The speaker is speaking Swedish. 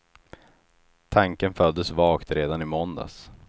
Tanken föddes vagt redan i måndags.